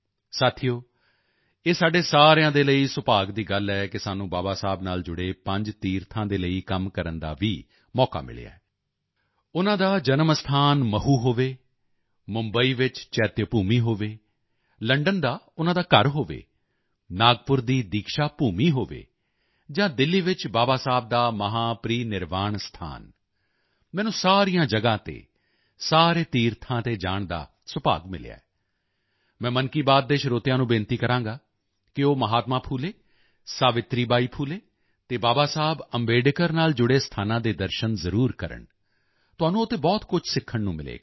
ਸਾਥੀਓ ਇਹ ਸਾਡੇ ਸਾਰਿਆਂ ਦੇ ਲਈ ਸੁਭਾਗ ਦੀ ਗੱਲ ਹੈ ਕਿ ਸਾਨੂੰ ਬਾਬਾ ਸਾਹੇਬ ਨਾਲ ਜੁੜੇ ਪੰਜ ਤੀਰਥਾਂ ਦੇ ਲਈ ਕੰਮ ਕਰਨ ਦਾ ਵੀ ਮੌਕਾ ਮਿਲਿਆ ਹੈ ਉਨ੍ਹਾਂ ਦਾ ਜਨਮ ਸਥਾਨ ਮਹੂ ਹੋਵੇ ਮੁੰਬਈ ਵਿੱਚ ਚੈਤਯਭੂਮੀ ਹੋਵੇ ਲੰਡਨ ਦਾ ਉਨ੍ਹਾਂ ਦਾ ਘਰ ਹੋਵੇ ਨਾਗਪੁਰ ਦੀ ਦੀਕਸ਼ਾ ਭੂਮੀ ਹੋਵੇ ਜਾਂ ਦਿੱਲੀ ਵਿੱਚ ਬਾਬਾ ਸਾਹੇਬ ਦਾ ਮਹਾਪ੍ਰੀਨਿਰਵਾਣ ਸਥਾਨ ਮੈਨੂੰ ਸਾਰੀਆਂ ਜਗ੍ਹਾ ਤੇ ਸਾਰੇ ਤੀਰਥਾਂ ਤੇ ਜਾਣ ਦਾ ਸੁਭਾਗ ਮਿਲਿਆ ਮੈਂ ਮਨ ਕੀ ਬਾਤ ਦੇ ਸਰੋਤਿਆਂ ਨੂੰ ਬੇਨਤੀ ਕਰਾਂਗਾ ਕਿ ਉਹ ਮਹਾਤਮਾ ਫੂਲੇ ਸਾਵਿਤਰੀ ਬਾਈ ਫੂਲੇ ਅਤੇ ਬਾਬਾ ਸਾਹੇਬ ਅੰਬੇਡਕਰ ਨਾਲ ਜੁੜੇ ਸਥਾਨਾਂ ਦੇ ਦਰਸ਼ਨ ਕਰਨ ਜ਼ਰੂਰ ਜਾਣ ਤੁਹਾਨੂੰ ਉੱਥੇ ਬਹੁਤ ਕੁਝ ਸਿੱਖਣ ਨੂੰ ਮਿਲੇਗਾ